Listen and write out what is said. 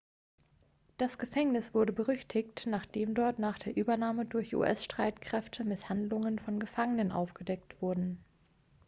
das gefängnis wurde berüchtigt nachdem dort nach der übernahme durch us-streitkräfte misshandlungen von gefangenenen aufgedeckt wurden